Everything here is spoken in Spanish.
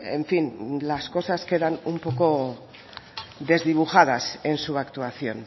en fin las cosas quedan un poco desdibujadas en su actuación